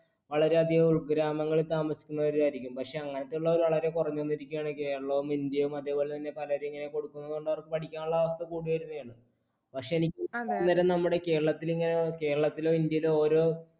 വളരെയധികം ഉൾഗ്രാമങ്ങളിൽ താമസിക്കുന്നവർ ആയിരിക്കും, പക്ഷേ അങ്ങനെയുള്ളവർ വളരെ കുറഞ്ഞു വന്നിരിക്കയാണ് Kerala ഉം India ഉം അതുപോലെതന്നെ പലരും ഇങ്ങനെ കൊടുക്കുന്ന കൊണ്ട് അവർക്ക് പഠിക്കാനുള്ള അവസ്ഥ കൂടി വരികയാണ്. പക്ഷേ എനിക്ക് അന്നേരം നമ്മുടെ കേരളത്തിൽ Kerala ത്തിലോ India യിലോ ഓരോ